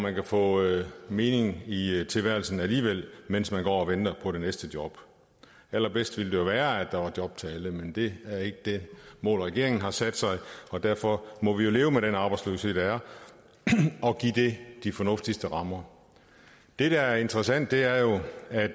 at få mening i tilværelsen alligevel mens man går og venter på det næste job allerbedst ville det jo være at der var job til alle men det er ikke det mål regeringen har sat sig og derfor må vi jo leve med den arbejdsløshed der er og give det de fornuftigste rammer det der er interessant er jo